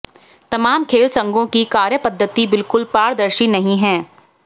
तमाम खेल संघों की कार्यपद्धति बिल्कुल पारदर्शी नहीं है